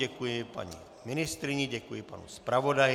Děkuji paní ministryni, děkuji panu zpravodaji.